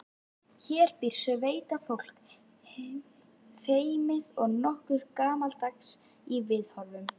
Hér býr sveitafólk, feimið og nokkuð gamaldags í viðhorfum.